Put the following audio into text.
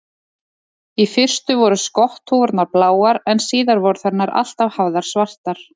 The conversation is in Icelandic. Í fyrstu voru skotthúfurnar bláar en síðar voru þær nær alltaf hafðar svartar.